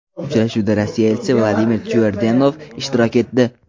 Uchrashuvda Rossiya elchisi Vladimir Tyurdenov ishtirok etdi.